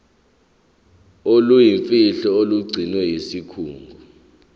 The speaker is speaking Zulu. oluyimfihlo olugcinwe yisikhungo